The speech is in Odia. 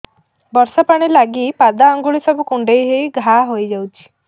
ବର୍ଷା ପାଣି ଲାଗି ପାଦ ଅଙ୍ଗୁଳି ସବୁ କୁଣ୍ଡେଇ ହେଇ ଘା ହୋଇଯାଉଛି